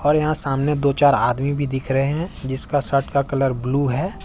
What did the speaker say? और यहां सामने दो चार आदमी भी दिख रहे हैं जिसका शर्ट का कलर ब्लू है।